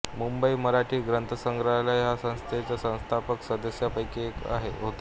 मुंबई मराठी ग्रंथसंग्रहालय ह्या संस्थेच्या संस्थापक सदस्यांपैकी ते एक होते